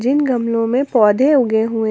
जिन गमलों में पौधे उगे हुए--